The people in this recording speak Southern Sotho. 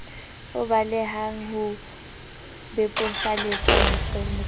o balehang ho bebofaletsa motshwai